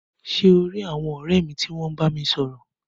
Ṣe o ri àwọn ọrẹ mi ti wọn bámi sọ̀rọ̀?